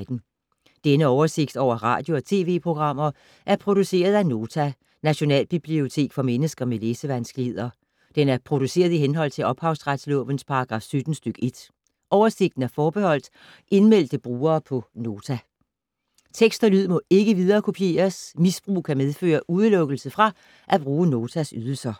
Denne oversigt over radio og TV-programmer er produceret af Nota, Nationalbibliotek for mennesker med læsevanskeligheder. Den er produceret i henhold til ophavsretslovens paragraf 17 stk. 1. Oversigten er forbeholdt indmeldte brugere på Nota. Tekst og lyd må ikke viderekopieres. Misbrug kan medføre udelukkelse fra at bruge Notas ydelser.